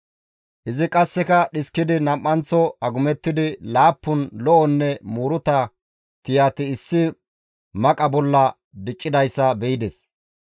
Izi qasseka dhiskidi nam7anththo agumettidi laappun lo7onne muuruta tiyati issi maqa bolla diccidayssa be7ides.